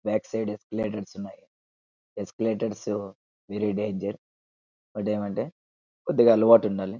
Back side sliders ఉన్నాయ్ ఎస్సీలతోర్స్ very danger వాడుయేమంటే కొద్దిగా అలవాటు ఉండాలి.